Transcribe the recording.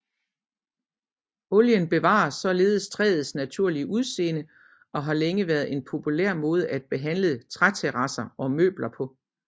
Olien bevarer således træets naturlige udseende og har længe været en populær måde at behandle træterrasser og møbler på